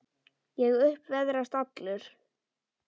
Ég upp veðrast allur.